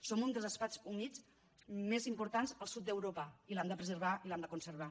som un dels espais humits més importants al sud d’europa i l’hem de preservar i l’hem de conservar